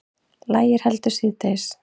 Lægir heldur síðdegis